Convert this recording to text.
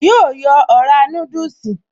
Yóò yọ ọ̀rá núdùsì